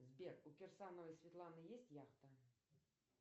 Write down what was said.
сбер у кирсановой светланы есть яхта